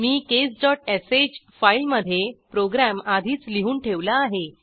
मी caseश फाईलमधे प्रोग्रॅम आधीच लिहून ठेवला आहे